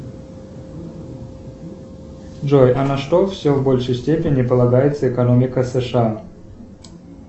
джой а на что все в большей степени полагается экономика сша